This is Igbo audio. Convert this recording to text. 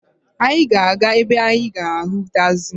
Anyị ga-aga ebe anyị ga-ahụ tagzi.